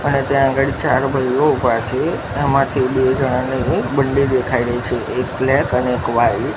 અને ત્યાં અગાડી ચાર ભાઈઓ ઉભા છે એમાથી બે જણાની બંડી દેખાય રહી છે એક બ્લેક અને એક વ્હાઇટ .